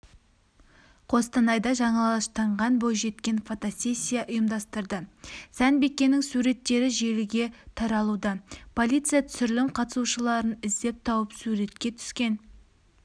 қостанайда жалаңаштанған бойжеткен фотосессия ұйымдастырды сәнбикенің суреттері желіге таралуда полиция түсірілім қатысушыларын іздеп тауып суретке түскен